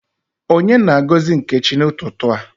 Onye na-agozi Nkechi n’ututu a?